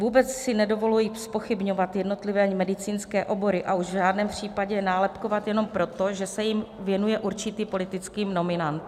Vůbec si nedovoluji zpochybňovat jednotlivé medicínské obory, a už v žádném případě nálepkovat jenom proto, že se jim věnuje určitý politický nominant.